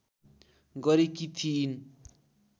गरेकी थिइन्